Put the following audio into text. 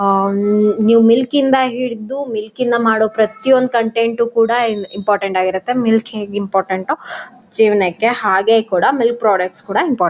ಆ ಹ್ಮ್ ನೀವು ಮಿಲ್ಕ್ ನಿಂದ ಹಿಡಿದು ಮಿಲ್ಕ್ ನಿಂದ ಮಾಡೋ ಪ್ರತಿಯೊಂದು ಕಂಟೆಂಟ್ ಕೂಡ ಇನ್ ಇಂಪಾರ್ಟೆಂಟ್ ಆಗಿರುತ್ತೆ ಮಿಲ್ಕ್ ಹೇಗ್ ಇಂಪಾರ್ಟೆಂಟ್ ಜೀವನಕ್ಕೆ ಹಾಗೆ ಕೂಡ ಮಿಲ್ಕ್ ಪ್ರಾಡಕ್ಟ್ಸ್ ಕೂಡ ಇಂಪಾರ್ಟೆಂಟ್ .